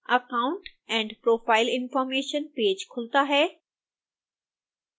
account and profile information page खुलता है